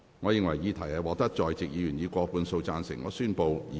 我認為議題獲得在席議員以過半數贊成。